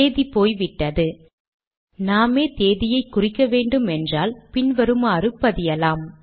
தேதி போய் விட்டது நாமே தேதியை குறிக்க வேண்டுமென்றால் நாம் பின் வருமாறு பதியலாம்